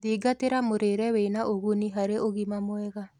Thingatirĩa mũrire wĩna ũguni harĩ ũgima mwega